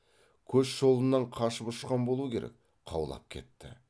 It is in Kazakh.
көш жолынан қашып ұшқан болу керек қаулап кетті